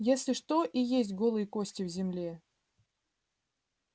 если что и есть голые кости в земле